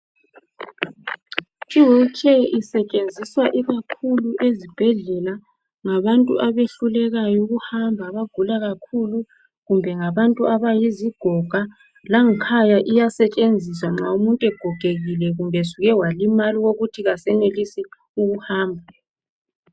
Iwilitsheya isetshenziswa ikakhulu ezibhedlela ngabantu abehllulekayo ukuhamba abagula kakhulu kumbe ngabantu abayizigoga. Langikhaya iyasetshenziswa nxa umuntu ogekekile kumbe esuke walimala okokuthi kasenelisi ukuhamba.